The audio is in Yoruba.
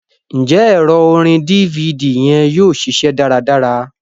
Njẹ ẹrọ orin DVD yẹn yóò ṣiṣẹ dáradára?